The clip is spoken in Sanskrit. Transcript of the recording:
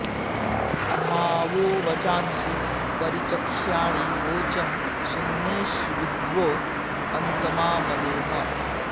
मा वो॒ वचां॑सि परि॒चक्ष्या॑णि वोचं सु॒म्नेष्विद्वो॒ अन्त॑मा मदेम